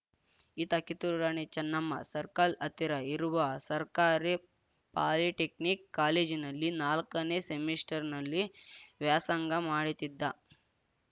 ಈತ ಕಿತ್ತೂರು ರಾಣಿ ಚೆನ್ನಮ್ಮ ಸರ್ಕಲ್‌ ಹತ್ತಿರ ಇರುವ ಸರ್ಕಾರಿ ಪಾಲಿಟೆಕ್ನಿಕ್‌ ಕಾಲೇಜಿನಲ್ಲಿ ನಾಲ್ಕನೇ ಸೆಮಿಸ್ಟರ್‌ನಲ್ಲಿ ವ್ಯಾಸಂಗ ಮಾಡುತ್ತಿದ್ದ